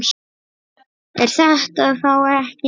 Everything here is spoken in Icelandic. Er þetta þá ekki nóg?